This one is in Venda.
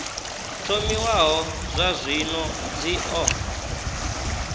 thomiwaho zwa zwino dzi o